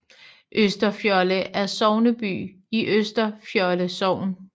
Østerfjolde er sogneby i Østerfjolde Sogn